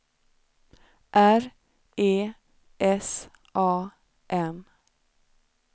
R E S A N